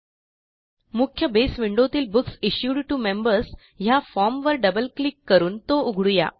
मुख्य बेस विंडोतील books issued T O members ह्या Formवर डबल क्लिक करून तो उघडू या